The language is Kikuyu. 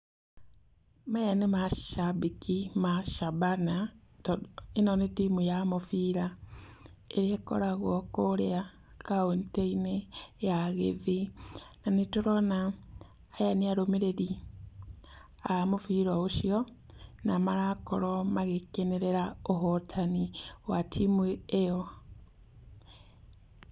Maya nĩ macabĩki ma cabana, to ĩno nĩ timu ya mũbira ĩrĩa ĩkoragwo kũrĩa kaũntĩinĩ ya gĩthii na nĩtũrona aya nĩ arũmĩrĩri a mũbira ũcio, na marakorwo magĩkenerera ũhotani wa timu ĩyo.